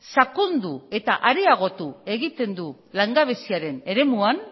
sakondu eta areagotu egiten du langabeziaren eremuan